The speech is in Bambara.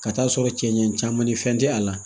Ka taa sɔrɔ cɛncɛn caman ni fɛn tɛ a la